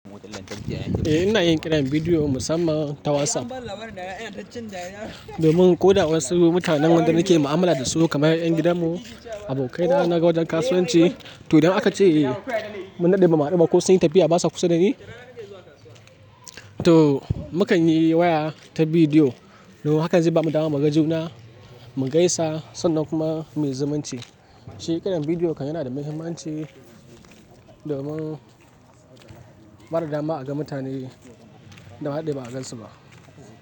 Eh ina yin kiran bidiyo musamman ta WhatsApp domin ko da wasu mutanen wanda nake mu'amala dasu kamar 'yan gidan mu, abokai na na wajen kasuwanci. To idan aka ce mun haɗu ba mu haɗu ba ko sun yi tafiya basa kusa dani, to muka yi waya ta bidiyo. Hakanze ba mu damu mu ga juna, mu gaisa sannan kuma muyi zumunci. Shi kiran bidiyo kan yana da muhimmanci domin bada dama aga mutane da andade ba agansu ba.